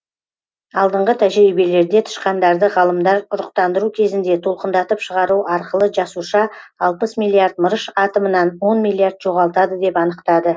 алдыңғы тәжірибелерде тышқандарды ғалымдар ұрықтандыру кезінде толқындатып шығару арқылы жасуша алпыс миллиард мырыш атомынан он миллиард жоғалтады деп анықтады